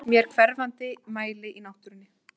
Það finnst í hverfandi mæli í náttúrunni.